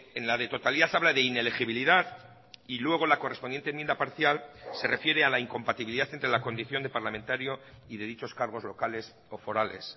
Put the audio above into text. en la de totalidad habla de inelegibilidad y luego la correspondiente enmienda parcial se refiere a la incompatibilidad entre la condición de parlamentario y de dichos cargos locales o forales